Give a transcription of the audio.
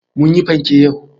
Mun yi panke yau.